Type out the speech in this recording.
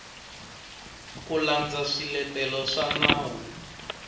ku landza swiletelo swa nawu